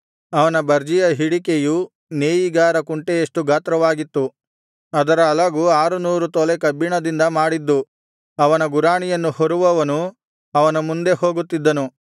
ಅವನ ಬರ್ಜಿಯ ಹಿಡಿಕೆಯು ನೇಯಿಗಾರ ಕುಂಟೆಯಷ್ಟು ಗಾತ್ರವಾಗಿತ್ತು ಅದರ ಅಲಗು ಆರುನೂರು ತೊಲೆ ಕಬ್ಬಿಣದಿಂದ ಮಾಡಿದ್ದು ಅವನ ಗುರಾಣಿಯನ್ನು ಹೊರುವವನು ಅವನ ಮುಂದೆ ಹೋಗುತ್ತಿದ್ದನು